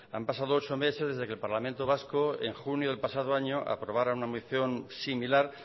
han pasado ocho meses desde que el parlamento vasco en junio del pasado año aprobara una moción similar